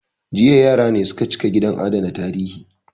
Jiya yara ne su ka cika gidan adana tarihi